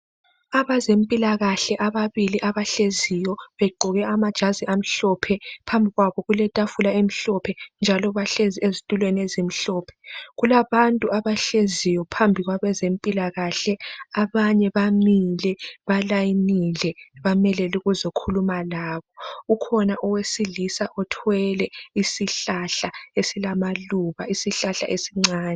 Abezempilakahle ababili abahleziyo begqoke amajazi amhlophe phambi kwabo kuletafula emhlophe njalo bahlezi ezitulweni ezimhlophe kulabantu abahleziyo phambi kwabantu abezempilakahle abanye bamile balayinile bamelele ukuzokhuluma labo ukhona owesilisa othwele isihlahla esilamaluba isihlahla esincane